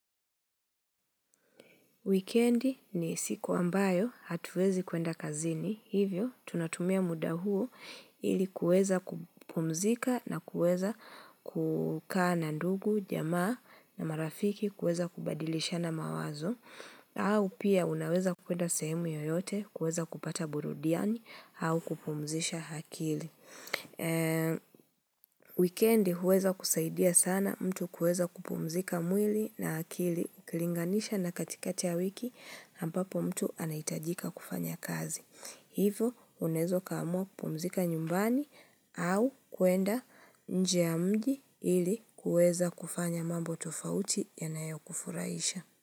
Wikendi ni siku ambayo hatuwezi kuenda kazini, hivyo tunatumia muda huo ili kueza kupumzika na kueza kukaa na ndugu, jamaa na marafiki, kueza kubadilishana mawazo, au pia unaweza kuenda sehemu yoyote kuweza kupata burudiani au kupumzisha akili. Weekendi huweza kusaidia sana mtu kuweza kupumzika mwili na akili ukilinganisha na katikati ya wiki na ambapo mtu anaitajika kufanya kazi. Hivyo unaweza ukaamua kupumzika nyumbani au kuenda nje ya mji ili kuweza kufanya mambo tofauti ya nayo kufurahisha.